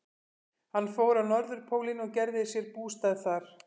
Hann fór á Norðurpólinn og gerði sér bústað þar.